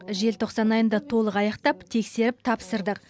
желтоқсан айында толық аяқтап тексеріп тапсырдық